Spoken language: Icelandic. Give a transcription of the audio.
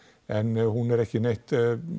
en hún er ekki neitt